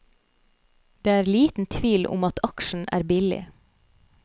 Det er liten tvil om at aksjen er billig.